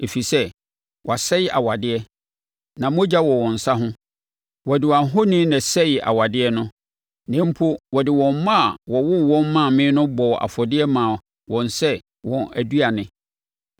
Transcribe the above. ɛfiri sɛ wɔasɛe awadeɛ, na mogya wɔ wɔn nsa ho. Wɔde wɔn ahoni na ɛsɛee awadeɛ no; na mpo wɔde wɔn mma a wɔwoo wɔn maa me no bɔɔ afɔdeɛ maa wɔn sɛ wɔn aduane.